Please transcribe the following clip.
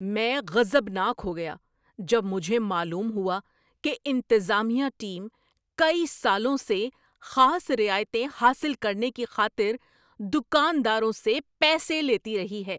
میں غضبناک ہو گیا جب مجھے معلوم ہوا کہ انتظامیہ ٹیم کئی سالوں سے خاص رعایتیں حاصل کرنے کی خاطر دکانداروں سے پیسے لیتی رہی ہے۔